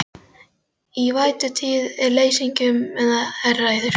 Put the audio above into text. Í vætutíð og leysingum er það hærra en í þurrkum.